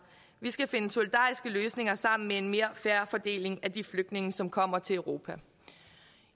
vi skal finde solidariske løsninger sammen med en mere fair fordeling af de flygtninge som kommer til europa